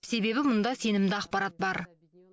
себебі мұнда сенімді ақпарат бар